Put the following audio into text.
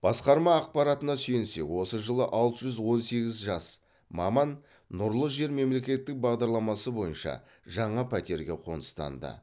басқарма ақпаратына сүйенсек осы жылы алты жүз он сегіз жас маман нұрлы жер мемлекеттік бағдарламасы бойынша жаңа пәтерге қоныстанды